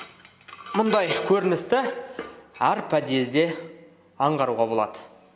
мұндай көріністі әр подъезде аңғаруға болады